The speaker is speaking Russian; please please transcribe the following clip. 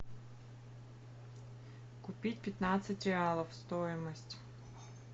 купить пятнадцать реалов стоимость